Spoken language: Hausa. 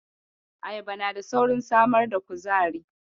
Ayaba na da saurin samar da kuzari.